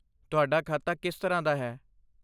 ਤੁਹਾਡਾ ਖਾਤਾ ਕਿਸ ਤਰ੍ਹਾਂ ਦਾ ਹੈ?